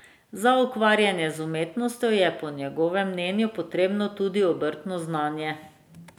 Za ukvarjanje z umetnostjo je po njegovem mnenju potrebno tudi obrtno znanje.